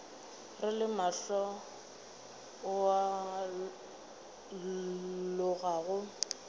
re le mohla o alogago